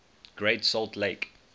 great salt lake